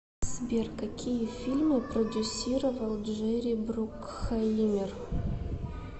сбер какие фильмы продюсировал джерри брукхаимер